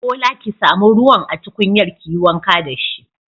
Bola ki samu ruwan a tukunyar kiyi wanka dashi.